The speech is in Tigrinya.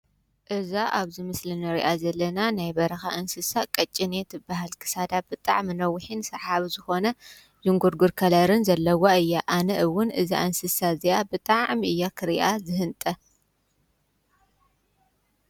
እዛ ኣብዝ ምስልነርያ ዘለና ናይ በረኻ እንስሳ ቐጭነት በሃል ክሳዳ ብጥዕ ምኖዊኂን ሰሓብ ዝኾነ ይንጕርጕር ከለርን ዘለዋ እያ ኣነእውን እዛ እንስሳ እዚኣ ብጥዕዕም እያ ኽርእያ ዝህንጠ።